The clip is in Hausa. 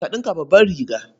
Ka ɗinka babbar riga.